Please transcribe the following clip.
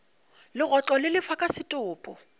legotlo le lefa ka setopo